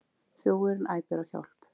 Þjófurinn æpir á hjálp.